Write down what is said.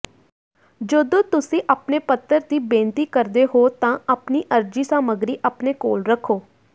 ਜਦੋਂ ਤੁਸੀਂ ਆਪਣੇ ਪੱਤਰ ਦੀ ਬੇਨਤੀ ਕਰਦੇ ਹੋ ਤਾਂ ਆਪਣੀ ਅਰਜ਼ੀ ਸਾਮੱਗਰੀ ਆਪਣੇ ਕੋਲ ਰੱਖੋ